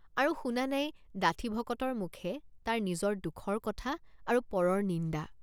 আৰু শুনা নাই ডাঠি ভকতৰ মুখে তাৰ নিজৰ দুখৰ কথা আৰু পৰৰ নিন্দা।